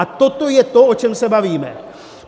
A toto je to, o čem se bavíme.